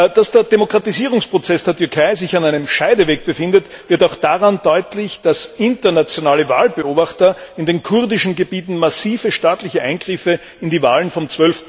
Dass sich der Demokratisierungsprozess der Türkei an einem Scheideweg befindet, wird auch daran deutlich, dass internationale Wahlbeobachter in den kurdischen Gebieten massive staatliche Eingriffe in die Wahlen vom